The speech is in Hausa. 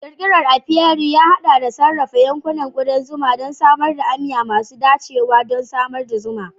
Ƙirƙirar apiary ya haɗa da sarrafa yankunan kudan zuma da samar da amya masu dacewa don samar da zuma.